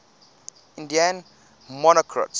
indian monarchs